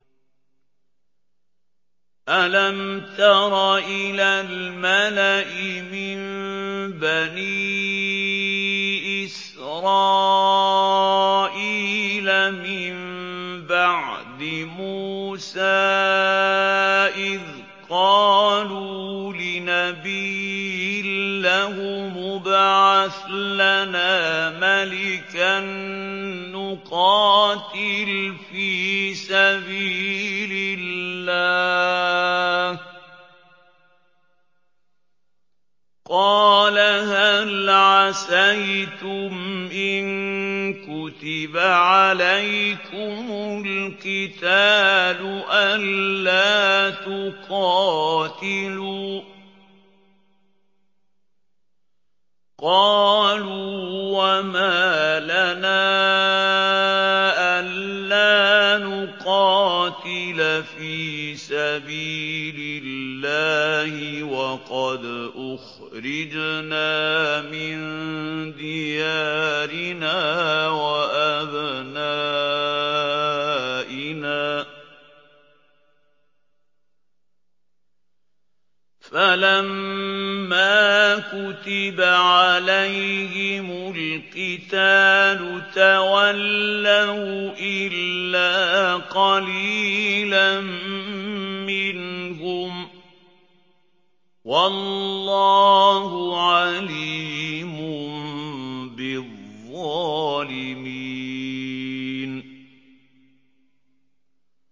أَلَمْ تَرَ إِلَى الْمَلَإِ مِن بَنِي إِسْرَائِيلَ مِن بَعْدِ مُوسَىٰ إِذْ قَالُوا لِنَبِيٍّ لَّهُمُ ابْعَثْ لَنَا مَلِكًا نُّقَاتِلْ فِي سَبِيلِ اللَّهِ ۖ قَالَ هَلْ عَسَيْتُمْ إِن كُتِبَ عَلَيْكُمُ الْقِتَالُ أَلَّا تُقَاتِلُوا ۖ قَالُوا وَمَا لَنَا أَلَّا نُقَاتِلَ فِي سَبِيلِ اللَّهِ وَقَدْ أُخْرِجْنَا مِن دِيَارِنَا وَأَبْنَائِنَا ۖ فَلَمَّا كُتِبَ عَلَيْهِمُ الْقِتَالُ تَوَلَّوْا إِلَّا قَلِيلًا مِّنْهُمْ ۗ وَاللَّهُ عَلِيمٌ بِالظَّالِمِينَ